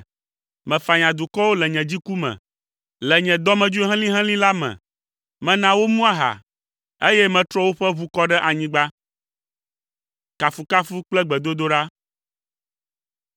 Mefanya dukɔwo le nye dziku me. Le nye dɔmedzoe helĩhelĩ la me, mena womu aha, eye metrɔ woƒe ʋu kɔ ɖe anyigba.”